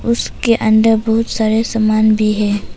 उसके अंदर बहुत सारे सामान भी है।